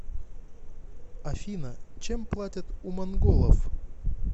афина чем платят у монголов